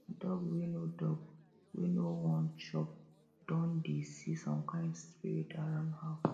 dog wey no dog wey no won chop don dey see some kind spirit around house